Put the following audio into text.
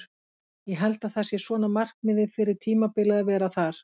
Ég held að það sé svona markmiðið fyrir tímabilið að vera þar.